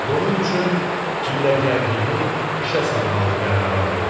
Bunun üçün hiyləgərliyini işə salmağı qərara aldı.